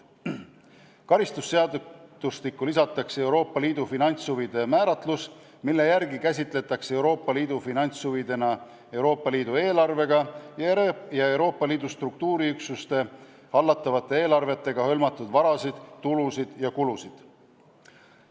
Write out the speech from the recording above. Karistusseadustikku lisatakse Euroopa Liidu finantshuvide määratlus, mille järgi käsitletakse liidu finantshuvidena Euroopa Liidu eelarvega ja Euroopa Liidu struktuuriüksuste hallatavate eelarvetega hõlmatud varasid, tulusid ja kulusid.